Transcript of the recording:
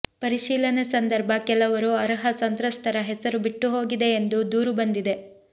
ಪರಿಶೀಲನೆ ಸಂದರ್ಭ ಕೆಲವರು ಅರ್ಹ ಸಂತ್ರಸ್ತರ ಹೆಸರು ಬಿಟ್ಟು ಹೋಗಿದೆ ಎಂದು ದೂರು ಬಂದಿದೆ